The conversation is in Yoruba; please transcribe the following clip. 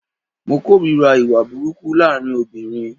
Mo kòrira ìwà burúkú laarin obìrin.